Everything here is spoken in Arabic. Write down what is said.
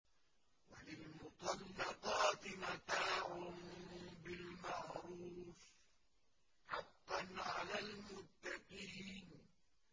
وَلِلْمُطَلَّقَاتِ مَتَاعٌ بِالْمَعْرُوفِ ۖ حَقًّا عَلَى الْمُتَّقِينَ